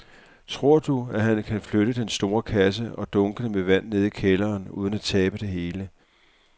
Tror du, at han kan flytte den store kasse og dunkene med vand ned i kælderen uden at tabe det hele?